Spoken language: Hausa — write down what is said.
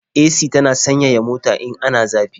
AC tana sanyaya mota in ana zafi.